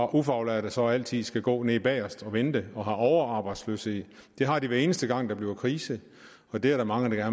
ufaglærte så altid skal gå nede bagest og vente og have overarbejdsløshed det har de hver eneste gang der bliver krise det er der mange der